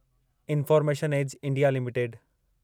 information age India limited